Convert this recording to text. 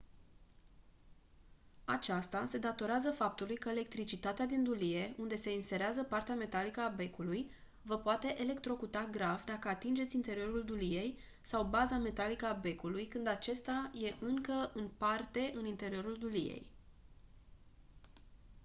aceasta se datorează faptului că electricitatea din dulie unde se inserează partea metalică a becului vă poate electrocuta grav dacă atingeți interiorul duliei sau baza metalică a becului când acesta e încă în parte în interiorul duliei